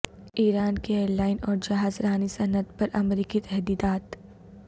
ایران کی ایرلائن اور جہاز رانی صنعت پر امریکی تحدیدات